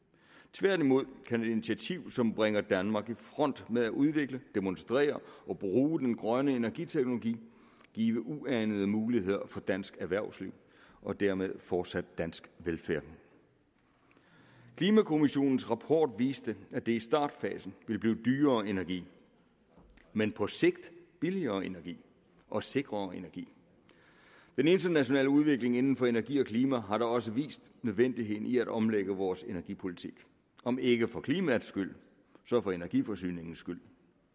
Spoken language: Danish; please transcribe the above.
tværtimod kan et initiativ som bringer danmark i front med at udvikle demonstrere og bruge den grønne energiteknologi give uanede muligheder for dansk erhvervsliv og dermed fortsat dansk velfærd klimakommissionens rapport viste at det i startfasen ville betyde dyrere energi men på sigt billigere energi og sikrere energi den internationale udvikling inden for energi og klima har da også vist nødvendigheden i at omlægge vores energipolitik om ikke for klimaets skyld så for energiforsyningens skyld